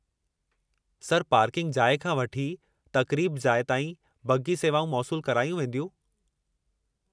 Sir, parking जाइ खां वठी तक़रीबु जाइ ताईं बग्गी सेवाऊं मौसूलु करायूं वेंदियूं।